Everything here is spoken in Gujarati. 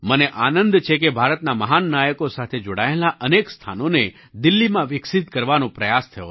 મને આનંદ છે કે ભારતના મહાન નાયકો સાથે જોડાયેલાં અનેક સ્થાનોને દિલ્લીમાં વિકસિત કરવાનો પ્રયાસ થયો છે